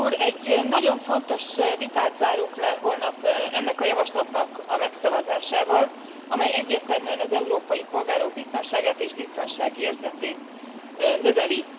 Egy nagyon fontos vitát zárunk le holnap ennek a javaslatnak a megszavazásával, amely egyértelműen az európai polgárok biztonságát és biztonságérzetét növeli.